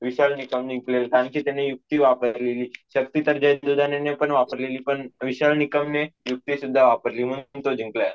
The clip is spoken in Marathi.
विशाल निकम जिंकलेला कारण कि त्यांनी युक्ती वापरली शक्ती तर जय दुधाने ने पन वापरलेली पण विशाल निकम ने युक्ती सुद्धा वापली म्हणूनच तो जिंकलाय.